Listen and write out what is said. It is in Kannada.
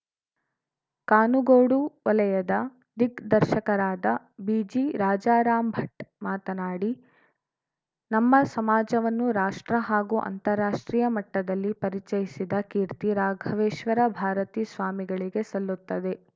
ಕಾನುಗೋಡು ವಲಯದ ದಿಗ್‌ದರ್ಶಕರಾದ ಬಿಜಿರಾಜಾರಾಮ್‌ಭಟ್‌ ಮಾತನಾಡಿ ನಮ್ಮ ಸಮಾಜವನ್ನು ರಾಷ್ಟ್ರ ಹಾಗೂ ಅಂತರಾಷ್ಟ್ರೀಯ ಮಟ್ಟದಲ್ಲಿ ಪರಿಚಯಿಸಿದ ಕೀರ್ತಿ ರಾಘವೇಶ್ವರ ಭಾರತೀಸ್ವಾಮಿಗಳಿಗೆ ಸಲ್ಲುತ್ತದೆ